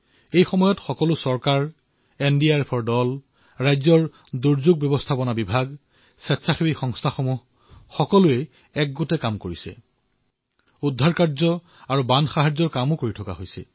এই ক্ষেত্ৰত সকলো চৰকাৰ এনডিআৰএফৰ দল ৰাজ্যৰ দুৰ্যোগ প্ৰশমন দল স্বেচ্ছাসেৱী সংস্থা সকলোৱে একত্ৰিত হৈ ৰক্ষা আৰু সাহায্যৰ কামত নামি পৰিছে